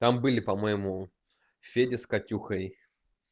там были по-моему федя с катюхой